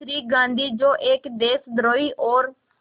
श्री गांधी जो एक देशद्रोही और